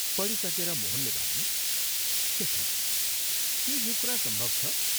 पढिसकेर मोहनले भन्यो, " शेखर, के यो कुरा सम्भव छ?